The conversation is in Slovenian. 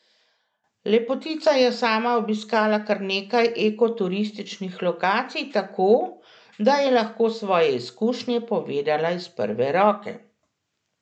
Lepotica je sama obiskala kar nekaj eko turističnih lokacij, tako, da je lahko svoje izkušnje povedala iz prve roke.